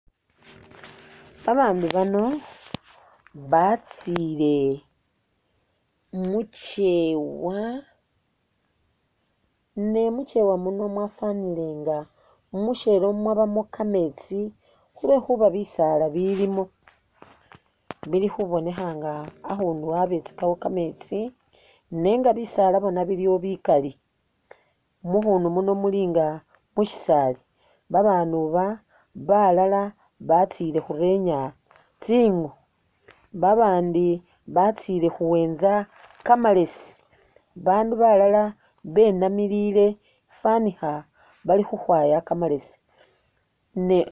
Babaandu bano batsile mu kyewa ne mu kyewa muno mwafanile inga mushebe mwabamo kameetsi khulwekhuba bisaala bilimo bili khubonekha nga akhundu abetsakawo kameetsi nenga bisaala bona biliwo bikali mmukhundu muno mulinga mu shisaali babaandu balala batsile khurenya tsikhu babandi batsile khuwentsa kamalesi bandu balala benamilile fanikha bali khukhwaya kamalesi.